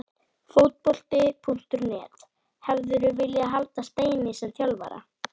Fótbolti.net: Hefðirðu viljað halda Steinari sem þjálfara?